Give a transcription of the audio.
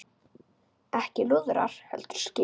Ekki lúðrar heldur skip.